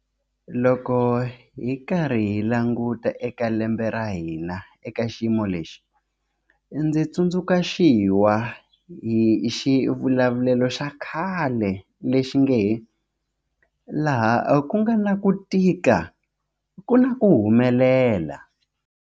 Loko hi karhi hi languta eka lembe ra hina eka xiyimo lexi, ndzi tsundzuxiwa hi xivulavulelo xa khale lexi nge laha ku nga na ku tika ku na ku humelela.